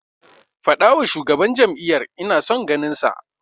Faɗawa shugaban jam'iyyar ina son ganinsa.